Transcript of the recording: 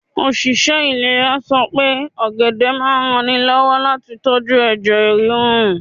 Òṣìṣẹ́ ìlera sọ pé ọ̀gẹ̀dẹ̀ máa ń ranni lọ́wọ́ láti tóju ẹ̀jẹ̀ ríru.